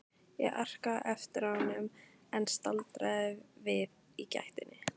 Ég arkaði á eftir honum en staldraði við í gættinni.